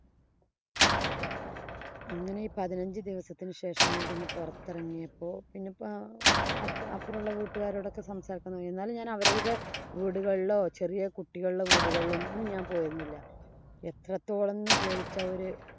അങ്ങനെ ഈ പതിനഞ്ച് ദിവസത്തിനു ശേഷം കഴിഞ്ഞു പൊറത്തെറങ്ങിയപ്പോ പിന്നെ ഇപ്പൊ അപ്പറം ഒള്ള വീട്ടുകാരോടൊക്കെ സംസാരിച്ചു. എന്നാലും ഞാന്‍ അവരുടെ വീട്ടിലെ വീടുകളിലോ, ചെറിയ കുട്ടികളുടെ വീടുകളിലൊന്നും ഞാന്‍ പോയിരുന്നില്ല. എത്രത്തോളം എന്ന് ചോദിച്ചാല്‍ ഒരു